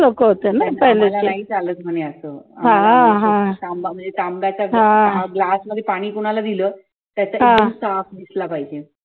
आम्हाला नाही चालत म्हणे असं glass मध्ये पाणी कुणाला दिलं तर एक्दम साफ दिसला पाहिजे